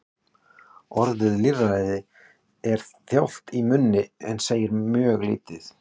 Orðið lýðfræði er þjált í munni en segir mjög lítið.